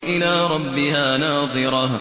إِلَىٰ رَبِّهَا نَاظِرَةٌ